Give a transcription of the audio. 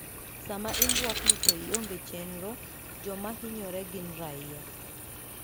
Sama imbwakni to ionge chenro, joma hinyore gin raia".